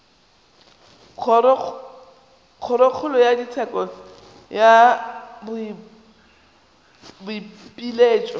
kgorokgolo ya tsheko ya boipiletšo